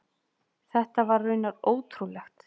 Þetta var raunar ótrúlegt.